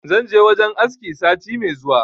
Zan je wajen aski sati me zuwa